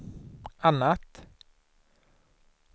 annat